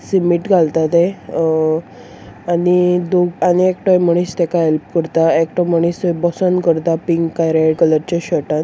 सीमीट घालता ते अ आनी दु आनी एकटो मनीस तेका हेल्प करता एकटो मनीस थय बसोन करता पिंक काय रेड कलरचे शर्टान .